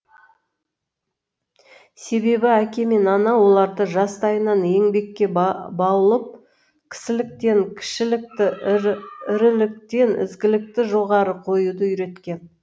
себебі әке мен ана оларды жастайынан еңбекке баулып кісіліктен кішілікті іріліктен ізгілікті жоғары қоюды үйреткен